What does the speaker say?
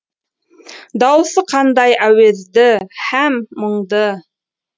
дауысы қандай әуезді һәм мұңды